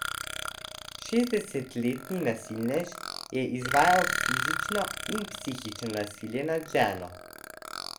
Šestdesetletni nasilnež je izvajal fizično in psihično nasilje nad ženo.